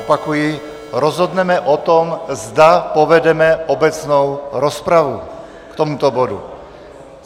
Opakuji, rozhodneme o tom, zda povedeme obecnou rozpravu k tomuto bodu.